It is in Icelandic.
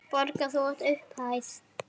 Borga þá upphæð?